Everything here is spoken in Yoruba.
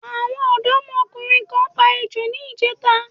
Àwọn ọ̀dọ́mọkùnrin kan pa ejò ní ìjẹta.